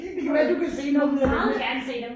Det kan være du kan se noget ud af dem her